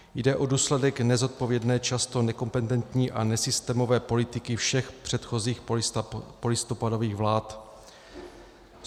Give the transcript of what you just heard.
Jde o důsledek nezodpovědné, často nekompetentní a nesystémové politiky všech předchozích polistopadových vlád.